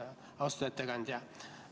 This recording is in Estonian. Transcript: Austatud ettekandja!